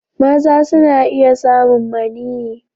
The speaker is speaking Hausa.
Maza suna iya samun maniyyi.